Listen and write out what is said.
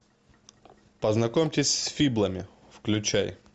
познакомьтесь с фиблами включай